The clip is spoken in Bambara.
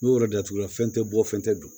N'o yɔrɔ de t'i la fɛn tɛ bɔ fɛn tɛ dun